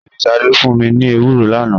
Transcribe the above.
Bẹẹni, Sade fun mi ni ewuro lana.